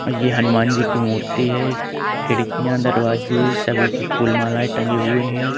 यह हनुमान जी की मूर्ति है। खिड़कियां दरवाजे सभी पर फूल मलाए टंगे हुए हैं।